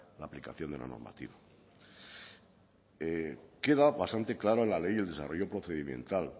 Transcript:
la aplicación de la normativa queda bastante clara la ley y el desarrollo procedimental